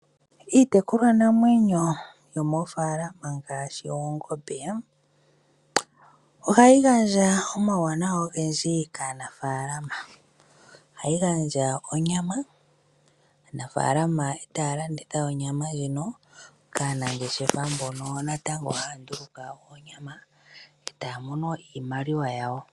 Iitekulwa namwenyo moofalama ngaashi oongombe. Ohayi gandja omauwanawa ogendji kaanafalama, ohayi gandja onyama aanafalama taya landitha onyama ndjino kaanangeshefa wo mboka haya nduluka onyama taya mono mo iimaliwa yawo.